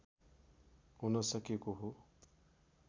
हुन सकेको हो